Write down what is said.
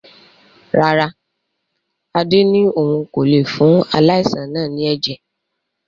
Rárá, Adé ni òun kò lé fún aláìsàn náà ni ẹ̀jẹ̀